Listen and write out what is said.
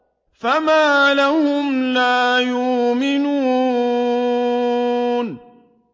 فَمَا لَهُمْ لَا يُؤْمِنُونَ